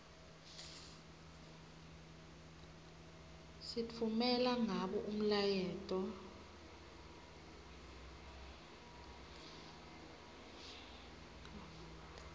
sitfumela ngabo umyaleto